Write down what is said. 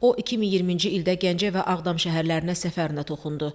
O 2020-ci ildə Gəncə və Ağdam şəhərlərinə səfərinə toxundu.